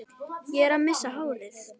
Ég er að missa hárið.